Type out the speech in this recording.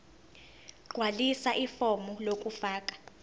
gqwalisa ifomu lokufaka